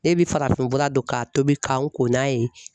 Ne bɛ farafinfura dɔn k'a tobi ka n ko n'a ye